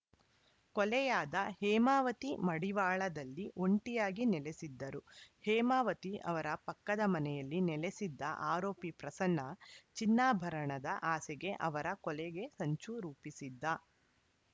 ಕೊಲೆಯಾದ ಹೇಮಾವತಿ ಮಡಿವಾಳದಲ್ಲಿ ಒಂಟಿಯಾಗಿ ನೆಲೆಸಿದ್ದರು ಹೇಮಾವತಿ ಅವರ ಪಕ್ಕದ ಮನೆಯಲ್ಲಿ ನೆಲೆಸಿದ್ದ ಆರೋಪಿ ಪ್ರಸನ್ನ ಚಿನ್ನಾಭರಣದ ಆಸೆಗೆ ಅವರ ಕೊಲೆಗೆ ಸಂಚು ರೂಪಿಸಿದ್ದ